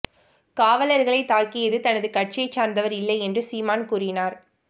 காவலர்களை தாக்கியது தனது கட்சியை சார்ந்தவர் இல்லை என்று சீமான் கூறினார்